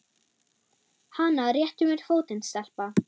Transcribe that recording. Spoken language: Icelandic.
Hana réttu mér fótinn, stelpa!